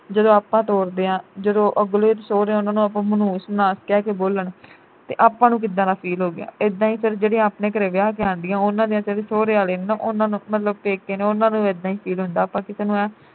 ਜਦੋਂ ਆਪਾਂ ਤੋਰਦੇ ਆ ਜਦੋਂ ਅਗਲੇ ਸਹੁਰਿਆਂ ਉਨ੍ਹਾਂ ਨੂੰ ਮਨਹੂਸ ਮਨਹਾਸ ਕਹਿ ਕੇ ਬੋਲਣ ਤੇ ਆਪਾਂ ਨੂੰ ਕਿੱਦਾਂ ਦਾ feel ਹੋਉਗਾ। ਇੱਦਾਂ ਈ ਫਿਰ ਜਿਹੜੀਆਂ ਆਪਣੇ ਘਰੇ ਵਿਆਹ ਕੇ ਆਉਂਦੀ ਆ ਉਨ੍ਹਾਂ ਦੀਆਂ ਸਹੁਰਿਆਂ ਵਾਲੇ ਉਨ੍ਹਾਂ ਨੂੰ ਮਤਲਬ ਪੇਕੇ ਨੂੰ ਉਨ੍ਹਾਂ ਨੂੰ ਇੱਦਾਂ ਈ feel ਹੁੰਦਾ ਆਪਾਂ ਨੂੰ